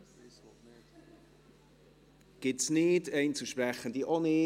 – Diese gibt es nicht, und auch keine Einzelsprechenden.